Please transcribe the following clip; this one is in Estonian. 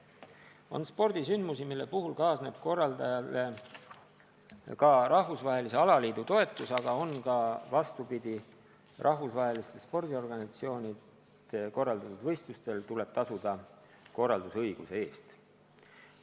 On spordisündmusi, mille puhul kaasneb korraldajale ka rahvusvahelise alaliidu toetus, aga on ka vastupidi: rahvusvaheliste spordiorganisatsioonide korraldatud võistlustel tuleb korraldusõiguse eest tasuda.